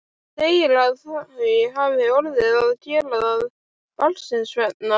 Segir að þau hafi orðið að gera það barnsins vegna.